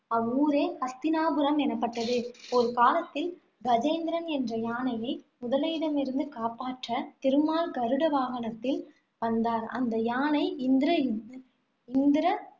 அவ்வூரே ஹஸ்தினாபுரம் எனப்பட்டது. ஒரு காலத்தில் கஜேந்திரன் என்ற யானையை முதலையிடமிருந்து காப்பாற்ற திருமால் கருட வாகனத்தில் வந்தார். அந்த யானை, இந்திர இந்திர~